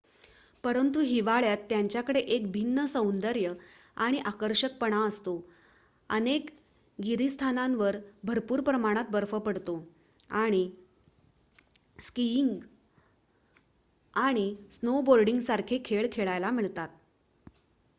परंतु हिवाळ्यात त्यांच्याकडे एक भिन्न सौंदर्य आणि आकर्षकपणा असतो अनेक गिरीस्थानांवर भरपूर प्रमाणात बर्फ पडतो आणि स्किईंग आणि स्नोबोर्डींगसारखे खेळ खेळायला मिळतात